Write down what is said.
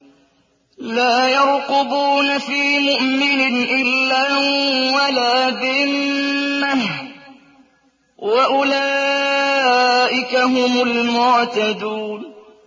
لَا يَرْقُبُونَ فِي مُؤْمِنٍ إِلًّا وَلَا ذِمَّةً ۚ وَأُولَٰئِكَ هُمُ الْمُعْتَدُونَ